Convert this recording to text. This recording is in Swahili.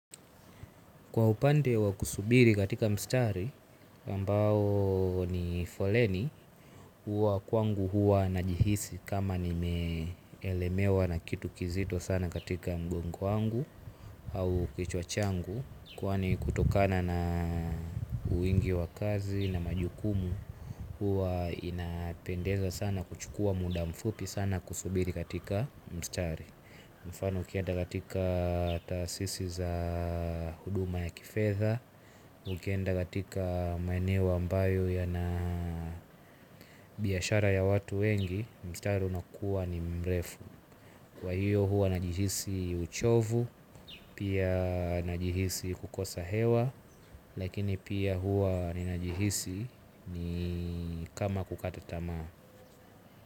Kwa upande wa kusubiri katika mstari, ambao ni foleni, huwa kwangu huwa najihisi kama ni meelemewa na kitu kizito sana katika mgongo wangu au kichwa changu. Kwani kutokana na uwingi wa kazi na majukumu, huwa inapendeza sana kuchukua muda mfupi sana kusubiri katika mstari. Mfano ukienda katika tasisi za huduma ya kifedha, ukienda katika maeneo ambayo ya na biyashara ya watu wengi, mstari unakuwa ni mrefu. Kwa hiyo hua najihisi uchovu, pia najihisi kukosa hewa, lakini pia hua ninajihisi ni kama kukata tamaa.